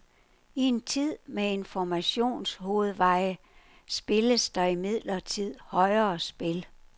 I en tid med informationshovedveje spilles der imidlertid højere spil.